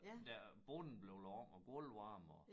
Der bunden blev lavet og gulvvarme og